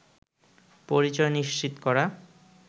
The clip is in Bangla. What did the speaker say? পরিচয় নিশ্চিত করা